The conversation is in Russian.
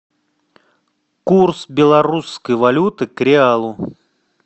курс белорусской валюты к реалу